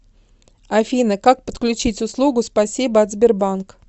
афина как подключить услугу спасибо от сбербанк